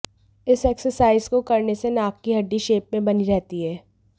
इस एक्सरसाइज को करने से नाक की हड्डी शेप में बनी रहती है